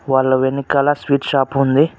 వాళ్ళ వెనుకుల sweet shop ఉంది.